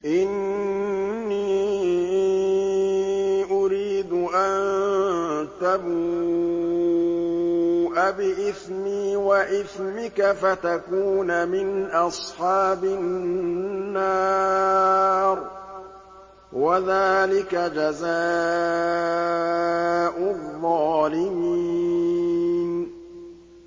إِنِّي أُرِيدُ أَن تَبُوءَ بِإِثْمِي وَإِثْمِكَ فَتَكُونَ مِنْ أَصْحَابِ النَّارِ ۚ وَذَٰلِكَ جَزَاءُ الظَّالِمِينَ